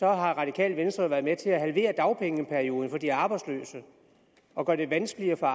radikale venstre været med til at halvere dagpengeperioden for de arbejdsløse og gøre det vanskeligere for